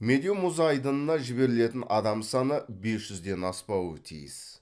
медеу мұз айдынына жіберілетін адам саны бес жүзден аспауы тиіс